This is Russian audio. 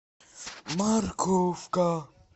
морковка